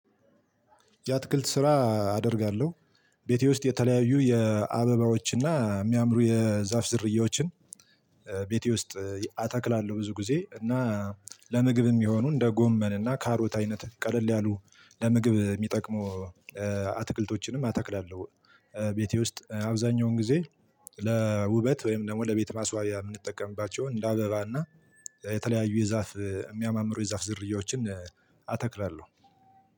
የአትክልት ስራ አደርጋለሁ። ቤቴ ውስጥ የተለያዩ የአበባዎች እና የሚያምሩ የዛፍ ዘርያዎችን። ቤቴ ውስጥ አተክላለሁ ብዙ ጊዜ እና ለምግብም የሚሆኑ እንደ ጎመን እና ካሮት አይነት ቀለል ያሉ ለምግብ የሚጠቅሙ አትክልቶችንም አተክላለሁ። ቤቴ ውስጥ አብዛኛውን ጊዜ ለውበት ወይም ደግሞ ለቤት ማስዋቢያ የምንጠቀምባቸው እንደ አበባ እና የተለያዩ የዛፍ የሚያማምሩ የዛፍ ዝርያዎችን አተክላለሁ።